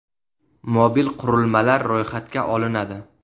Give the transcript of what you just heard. Mobil qurilmalar ro‘yxatga olinadi.